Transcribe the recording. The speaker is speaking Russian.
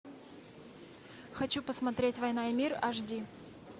хочу посмотреть война и мир аш ди